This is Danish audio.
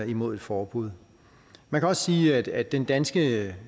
imod et forbud man kan også sige at den danske